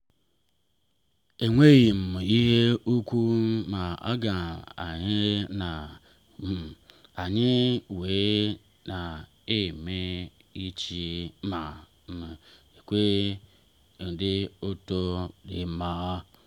enweghị m ihe ukwuu m ga-enye ma um anyị wee rie ọchị ma um nwee obi ụtọ n’ezie.